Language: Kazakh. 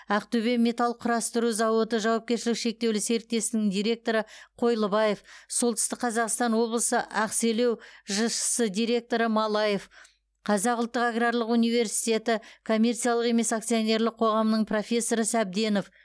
ақтөбе металл құрастыру зауыты жауапкершілігі шектеулі серіктестігінің директоры қойлыбаев солтүстік қазақстан облысы ақселеу жшс директоры малаев қазақ ұлттық аграрлық университеті коммерциялық емес акционерлік қоғамының профессоры сәбденов